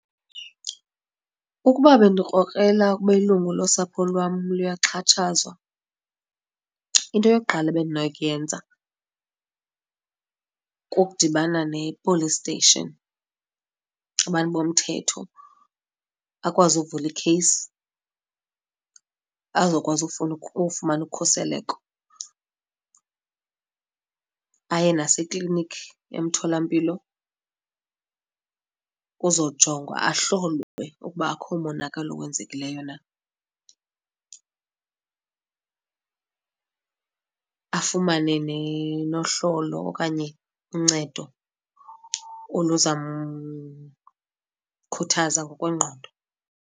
Ukuba bendikrokrela ukuba ilungu losapho lwam luyaxhatshazwa into yokuqala ebendinokuyenza kukudibana ne-police station, abantu bomthetho, akwazi ukuvula ikheyisi azokwazi ufumana ukhuseleko. Aye nasekliniki emtholampilo, kuzawujongwa ahlolwe ukuba akho monakalo owenzekileyo na. Afumane nohlolo okanye uncedo oluzawumkhuthaza ngokwengqondo.